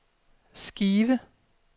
Skive